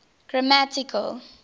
grammatical